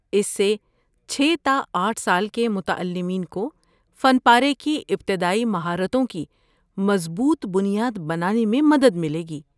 اس سے چھے تا آٹھ سال کے متعلمین کو فن پارے کی ابتدائی مہارتوں کی مضبوط بنیاد بنانے میں مدد ملے گی